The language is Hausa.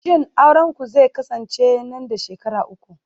shin aurenku zai kasance nan da shekaru uku